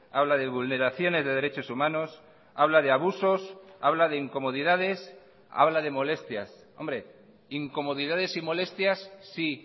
habla de vulneraciones de derechos humanos habla de abusos habla de incomodidades habla de molestias hombre incomodidades y molestias sí